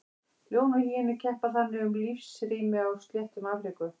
Ljón og hýenur keppa þannig um lífsrými á sléttum Afríku.